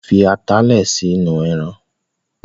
Sọ fi atalẹ̀ sínú ẹran?